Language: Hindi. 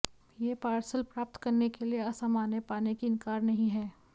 यह पार्सल प्राप्त करने के लिए असामान्य पाने की इनकार नहीं है